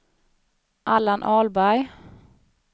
Allan Ahlberg